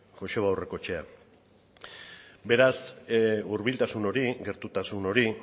joseba aurrekoetxea beraz hurbiltasun hori gertutasun hori